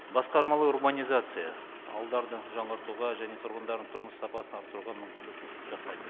басқармалы урбанизация ауылдарды жаңғыртуға және тұрғындардың тұрмыс сапасын арттыруға мүмкіндік жасайды